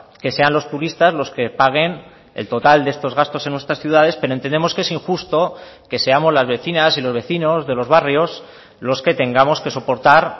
que sean los turistas los que paguen el total de estos gastos en nuestras ciudades pero entendemos que es injusto que seamos las vecinas y los vecinos de los barrios los que tengamos que soportar